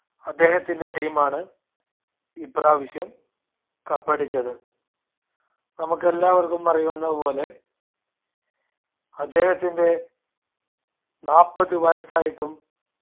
അദ്ദേഹത്തിന്റെ team ആണ് ഇപ്രാവശ്യം cup അടിച്ചത്. നമുക്കെല്ലാവർക്കും അറിയുന്ന പോലെ അദ്ദേഹത്തിന്റെ നാൽപ്പതു വയസ്സായിട്ടും